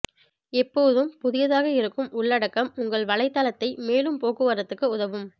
எப்போதும் புதியதாக இருக்கும் உள்ளடக்கம் உங்கள் வலைத்தளத்தை மேலும் போக்குவரத்துக்கு உதவும்